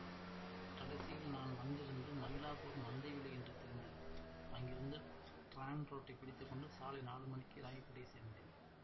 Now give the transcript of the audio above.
கடைசியில் நான் வந்திருந்தது மயிலாப்பூர் மந்தைவெளி என்று தெரிந்தது அங்கிருந்து டிராம் ரோட்டைப் பிடித்து கொண்டு சாலை நாலு மணிக்கு ராயப்பேட்டை சேர்ந்தேன்